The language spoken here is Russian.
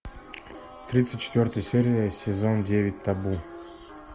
тридцать четвертая серия сезон девять табу